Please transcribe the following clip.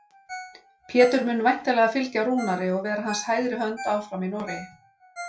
Pétur mun væntanlega fylgja Rúnari og vera hans hægri hönd áfram í Noregi.